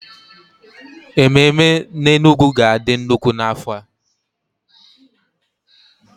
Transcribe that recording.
Ememe n'Enugwu ga-adị nnukwu n'afọ a.